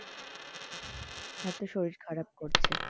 এত শরীর খারাপ করছে।